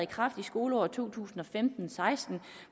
kraft i skoleåret to tusind og femten til seksten